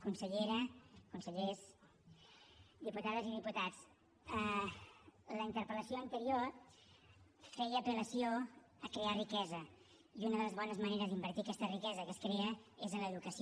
consellera consellers diputades i diputats la interpel·lació anterior feia apel·lació a crear riquesa i una de les bones maneres d’invertir aquesta riquesa que es crea és en l’educació